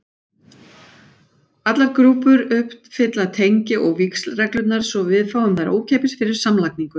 Allar grúpur uppfylla tengi- og víxlreglurnar, svo við fáum þær ókeypis fyrir samlagningu.